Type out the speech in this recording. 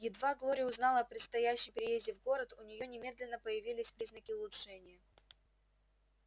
едва глория узнала о предстоящем переезде в город у неё немедленно появились признаки улучшения